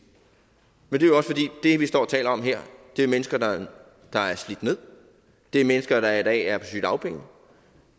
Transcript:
men dem vi står og taler om her er mennesker der er slidt ned det er mennesker der i dag er på sygedagpenge